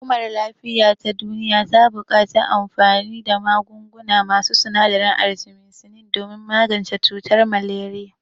Hukumar lafiya ta duniya buƙaci anfani da magunguna masu sinadarin artimisinin don magance cutar maleriya.